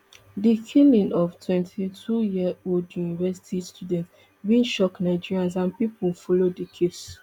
di killing of the twenty-twoyearold university student bin shock nigerians and pipo follow di case